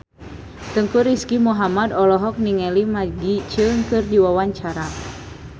Teuku Rizky Muhammad olohok ningali Maggie Cheung keur diwawancara